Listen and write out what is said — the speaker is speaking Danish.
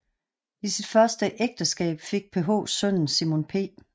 I sit første ægteskab fik PH sønnen Simon P